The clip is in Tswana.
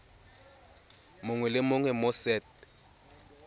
mongwe le mongwe mo set